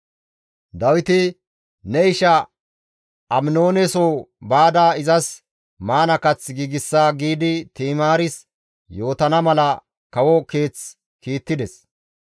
Dawiti, «Ne isha Aminooneso baada izas maana kath giigsa» giidi Ti7imaaris yootana mala kawo keeth kiittides.